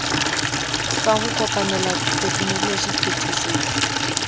sa ho kopanela tekenoloji phetisetso